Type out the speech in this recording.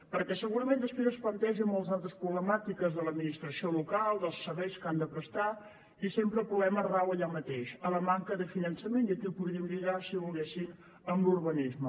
perquè segurament després es plantegen moltes altres problemàtiques de l’administració local dels serveis que han de prestar i sempre el problema rau allà mateix a la manca de finançament i aquí ho podríem lligar si volguessin amb l’urbanisme